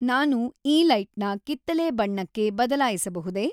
ನಾನು ಈ ಲೈಟ್ನ ಕಿತ್ತಳೆ ಬಣ್ಣಕ್ಕೆ ಬದಲಾಯಿಸಬಹುದೇ